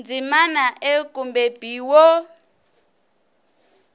ndzimana a kumbe b wo